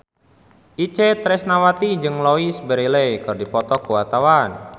Itje Tresnawati jeung Louise Brealey keur dipoto ku wartawan